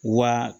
Wa